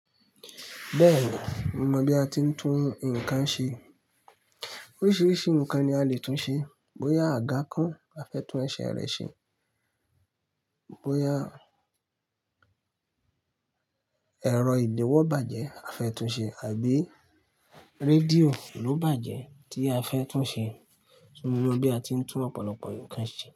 Bẹ́ẹ̀ni, mo mọ bí a ti ń tún nǹkan ṣe. Oríṣiríṣi nǹkan ni a lè tún ṣe. Bóyá àga kan a fẹ́ tún ẹsẹ̀ rẹ̀ ṣe, bóyá ẹ̀rọ ìdílọ́wọ́ bàjẹ́ a fẹ́ tún ṣe àbí rédíò ló bàjẹ́ tí a fẹ́ tún ṣe. Mo mọ bí a ti ń tún ọ̀pọ̀lọpọ̀ nǹkan ṣe.